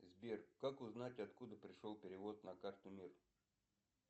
сбер как узнать откуда пришел перевод на карту мир